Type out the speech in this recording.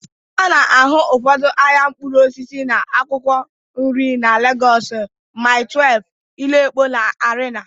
A na-ahụ ụfọdụ ahịa mkpụrụ osisi na akwụkwọ nri na Lagos na Mile 12, Ile Epo na Arena